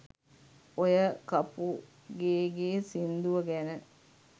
ඔය කපුගේගෙ සින්දුව ගැන